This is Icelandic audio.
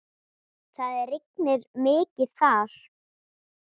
Það rignir mikið þar.